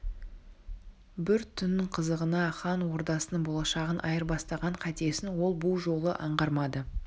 бір түннің қызығына хан ордасының болашағын айырбастаған қатесін ол бұ жолы аңғармады